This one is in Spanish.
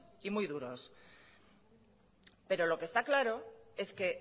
y muy duros pero lo que está claro es que